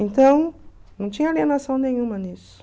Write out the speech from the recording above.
Então, não tinha alienação nenhuma nisso.